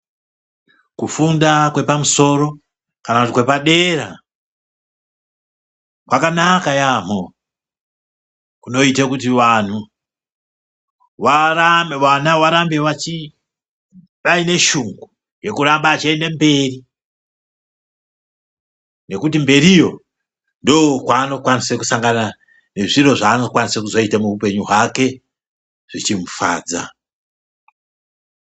Kufunda kwepamusoro kana kuti kwepadera kwakanaka yaambo ngokuti kunoita kuti vana varambe vaine shungu yekuramba aienda mberi ngekuti mberiyo ndiko kwaanokwanisa nezviro zvaanokwanisa kuzoita muhupenyu hwake zvechimufadza.